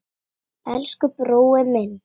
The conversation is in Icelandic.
Elsku brói minn.